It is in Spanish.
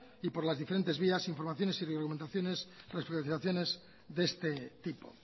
y por las diferentes vías informaciones y de este tipo